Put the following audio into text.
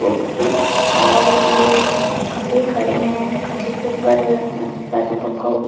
Box से और ये खम्बे खड़े है और खम्बे के ऊपर पेट्रोल पंप ।